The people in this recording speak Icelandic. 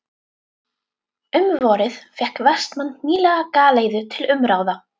Um vorið fékk Vestmann nýlega galeiðu til umráða.